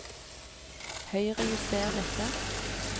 Høyrejuster dette